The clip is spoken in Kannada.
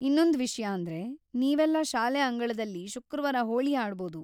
ಇನ್ನೊಂದ್ ವಿಷ್ಯ ಅಂದ್ರೆ, ನೀವೆಲ್ಲ ಶಾಲೆ ಅಂಗಳದಲ್ಲಿ ಶುಕ್ರವಾರ ಹೋಳಿ ಆಡ್ಬೌದು.